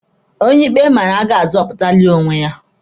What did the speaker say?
Onye ikpe mara agaghị azọpụtalị onwe ya.